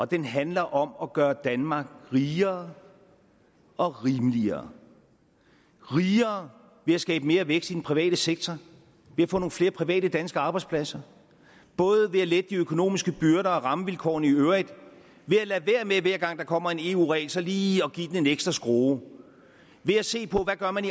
den handler om at gøre danmark rigere og rimeligere rigere ved at skabe mere vækst i den private sektor ved at få nogle flere private danske arbejdspladser både ved at lette de økonomiske byrder og rammevilkårene i øvrigt ved at lade være med hver gang der kommer en eu regel så lige at give den en ekstra skrue ved at se på hvad man